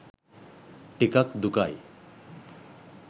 ටිකක් දුකයි.